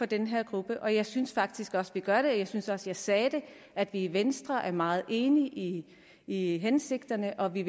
den her gruppe og jeg synes faktisk også vi gør det jeg synes også jeg sagde at vi i venstre er meget enige i i hensigterne og at vi